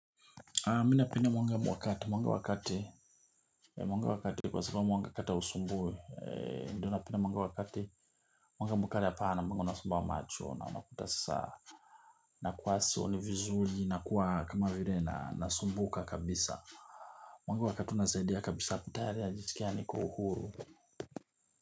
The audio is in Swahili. Mi napenda mwanga mwa kati, mwanga wa kati kwa sababu mwanga kati hausumbui. Ndio napenda mwanga wa kati mwanga mwa kati hapana mwanga unasumbua macho. Na unakuta sasa na kuwa sioni vizuri na kuwa kama vile nanasumbuka kabisa. Mwanga wa kati unasaidia kabisa tayari najisikia niko uhuru.